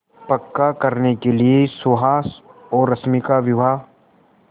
पक्का करने के लिए सुहास और रश्मि का विवाह